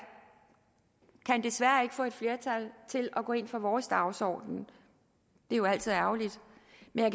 desværre ikke kan få et flertal til at gå ind for vores dagsorden det er jo altid ærgerligt